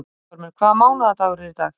Guttormur, hvaða mánaðardagur er í dag?